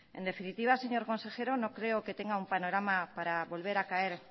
en definitiva señor consejero no creo que tengo un panorama para volver a caer